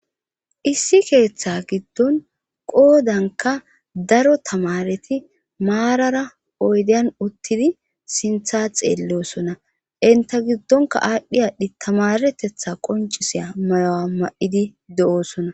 issi keeththa giddon qoodanka daro tamareti maarara oydeyan uttidi sintha xeelleosona enta giddonka aadhdhi aadhdhi tamaretetha qoncisiya mayo7a ma7idi de7oosona